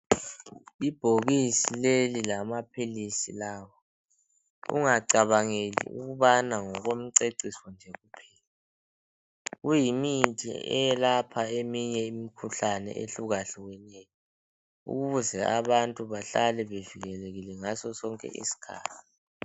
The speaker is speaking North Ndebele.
Ibhokisi leli lamaphilisi lawa ungacabangeli ukubana ngokomceciso nje kuphela kuyimithi elapha eminye imikhuhlane ehlukahlukeneyo ukuze abantu bahlale bevikelekile ngaso sonke isikhathi.